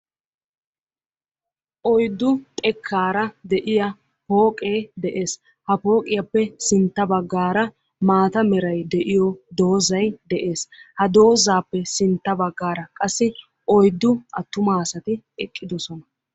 Oyiddu xekkaara de"iyaa pooqee de"ees. Ha pooqiyaappe sintta bagaara maata meray de"iyoo doozay de"ees. Ha doozaappe sintta baggaara qassi oyuddu attuma asati eqqidosona.